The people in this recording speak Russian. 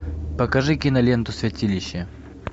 покажи киноленту святилище